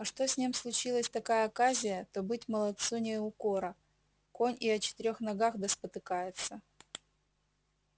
а что с ним случилась такая оказия то быль молодцу не укора конь и о четырёх ногах да спотыкается